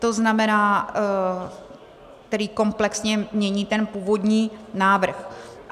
To znamená, který komplexně mění ten původní návrh.